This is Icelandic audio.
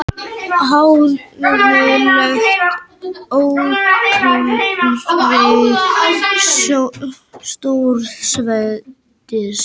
Háðuleg útreið stórveldis